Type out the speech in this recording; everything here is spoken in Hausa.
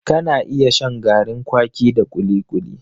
Ka na iya shan garin kwaki da kuli-kuli